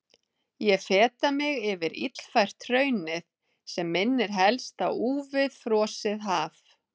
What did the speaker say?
Ég feta mig yfir illfært hraunið sem minnir helst á úfið frosið haf.